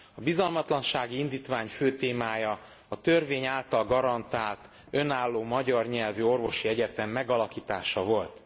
A bizalmatlansági indítvány fő témája a törvény által garantált önálló magyar nyelvű orvosi egyetem megalakítása volt.